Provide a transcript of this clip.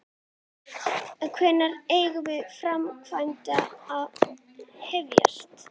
Hún gapir svo að sér ofan í kok á henni.